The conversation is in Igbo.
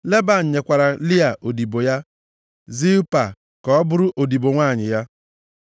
Leban nyekwara Lịa odibo ya, Zilpa, ka ọ bụrụ odibo nwanyị ya.